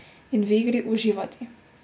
In v igri uživati.